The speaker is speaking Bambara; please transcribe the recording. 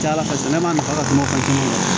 Ca ala fɛ ne ma nafa ka kuma